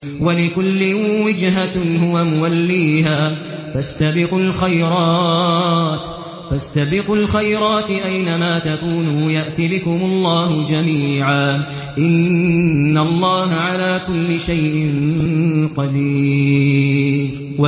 وَلِكُلٍّ وِجْهَةٌ هُوَ مُوَلِّيهَا ۖ فَاسْتَبِقُوا الْخَيْرَاتِ ۚ أَيْنَ مَا تَكُونُوا يَأْتِ بِكُمُ اللَّهُ جَمِيعًا ۚ إِنَّ اللَّهَ عَلَىٰ كُلِّ شَيْءٍ قَدِيرٌ